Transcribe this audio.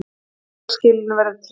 Rekstrarskilyrðin verði tryggð